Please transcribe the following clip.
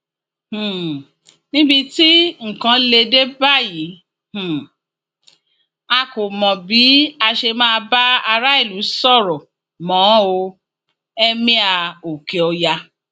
um níbi tí nǹkan lè dé báyìí um a kò mọ bí a ṣe máa bá aráàlú sọrọ mọ o emir okeoya